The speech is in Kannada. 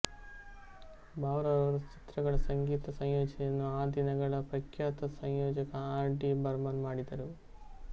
ಬಾವ್ರಾ ರವರ ಚಿತ್ರಗಳ ಸಂಗೀತ ಸಂಯೋಜನೆಯನ್ನು ಆದಿನಗಳ ಪ್ರಖ್ಯಾತ ಸಂಯೋಜಕ ಆರ್ ಡಿ ಬರ್ಮನ್ ಮಾಡಿದ್ದರು